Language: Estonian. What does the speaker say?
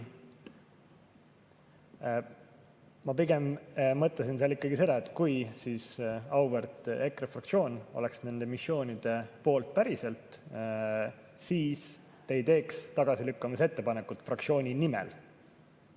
Ma pigem mõtlesin seal ikkagi seda, et kui auväärt EKRE fraktsioon oleks nende missioonide poolt päriselt, siis te ei teeks tagasilükkamise ettepanekut fraktsiooni nimel.